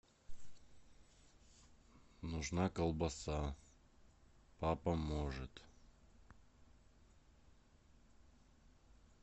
нужна колбаса папа может